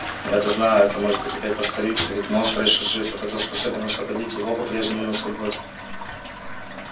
но я-то знаю это может опять повториться ведь монстр ещё жив а тот кто способен освободить его по-прежнему на свободе